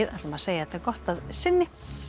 segjum þetta gott að sinni